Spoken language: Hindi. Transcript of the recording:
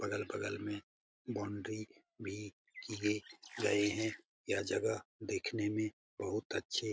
बगल-बगल में बाउंड्री भी की गई गए है यह जगह देखने में बहुत ही अच्छे --